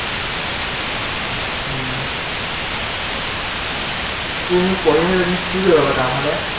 উম উম এতিয়া পঢ়ি আছা তুমি, কি কৰিবা বাৰু ডাঙৰ হলে?